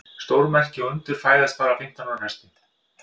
Stórmerki og undur fæðast bara á fimmtán ára fresti.